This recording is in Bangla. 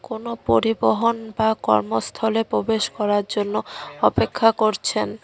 কোন পরিবহন বা কর্মস্থলে প্রবেশ করার জন্য অপেক্ষা করছেন।